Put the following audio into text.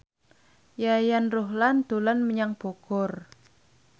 Yayan Ruhlan dolan menyang Bogor